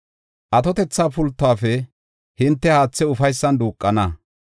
Atotetha pultuwafe hinte haathe ufaysan duuqana.